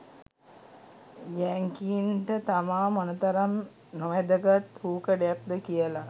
යැංකින්ට තමා මොනතරම් නොවැදගත් රූකඩයක්ද කියල